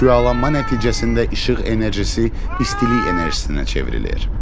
Şüalanma nəticəsində işıq enerjisi istilik enerjisinə çevrilir.